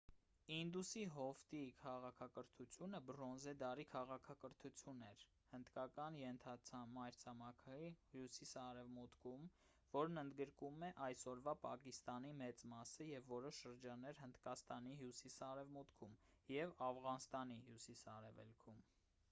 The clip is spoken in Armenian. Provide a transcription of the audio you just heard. ինդուսի հովտի քաղաքակրթությունը բրոնզե դարի քաղաքակրթություն էր հնդկական ենթամայրցամաքի հյուսիս-արևմուտքում որն ընդգրկում է այսօրվա պակիստանի մեծ մասը և որոշ շրջաններ հնդկաստանի հյուսիս-արևմուտքում և աֆղանստանի հյուսիս-արևելքում